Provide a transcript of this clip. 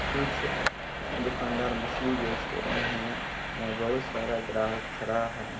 कुछ दुकानदार मछली बेच रहे है यहाँ बहोत सारा ग्राहक खरा है।